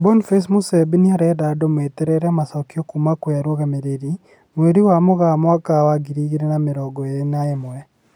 Boniface Musembi nĩarenda andũ meterere macokio kuma kwĩ arũgamĩrĩri, mweri wa Mũgaa mwaka wa ngiri igĩrĩ na mĩrongo ĩrĩ na ĩmwe